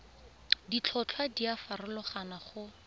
ditlhotlhwa di a farologana go